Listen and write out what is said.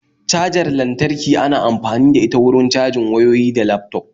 Cajar lantarki ana amfani da ita wurin cajin wayyoyi da laftop